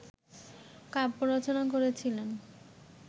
কাব্য রচনা করেছিলেন